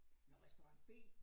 Nåh restaurant B